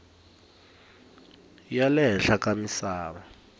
ya le henhla ka misava